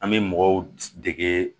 An bɛ mɔgɔw dege